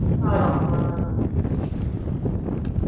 ആണോ ആ ആ ആ